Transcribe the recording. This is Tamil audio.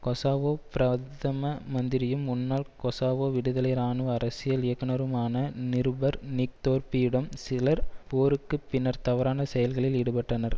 கொசாவோ பிரதம மந்திரியும் முன்னாள் கொசவோ விடுதலை இராணுவ அரசியல் இயக்குனருமான நிருபர் நிக் தோர்ப்பியிடம் சிலர் போருக்கு பின்னர் தவறான செயல்களில் ஈடுபட்டனர்